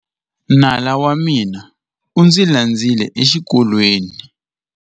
Nala wa mina u ndzi landzile exikolweni.